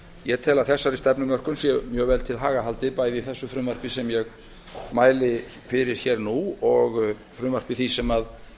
ég tel að þessari stefnumörkun sé mjög vel til haga haldið bæði í því frumvarpi sem ég mæli fyrir hér og nú og frumvarpi því sem